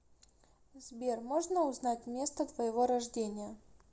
сбер можно узнать место твоего рождения